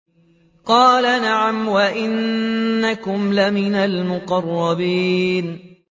قَالَ نَعَمْ وَإِنَّكُمْ لَمِنَ الْمُقَرَّبِينَ